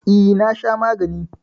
E, na sha magani.